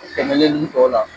Tɛmɛlen nun tɔ la